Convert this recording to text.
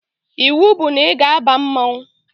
Iwu bụ na ị ga-aba mmanwụ